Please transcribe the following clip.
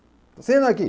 Assina aqui.